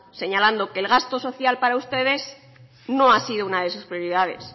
señalando que el gasto social para ustedes no ha sido una de sus prioridades